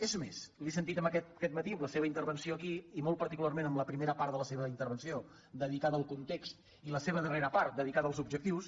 és més li ho he sentit aquest matí en la seva intervenció aquí i molt particularment en la primera part de la seva intervenció dedicada al context i la seva darrera part dedicada als objectius